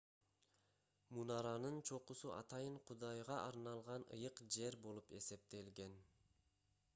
мунаранын чокусу атайын кудайга арналган ыйык жер болуп эсептелген